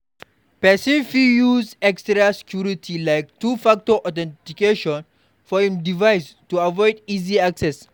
Person fit use extra security like 2 factor authentication for im device to avoid easy access